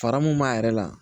Fara mun b'a yɛrɛ la